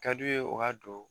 Ka di u ye u ka don